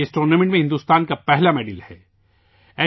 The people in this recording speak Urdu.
یہ اس مقابلے میں بھارت کا پہلا تمغہ ہے